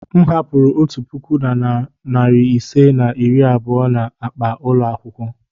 M hapụrụ otu puku na narị ise na iri abụọ na akpa ụlọ akwụkwọ.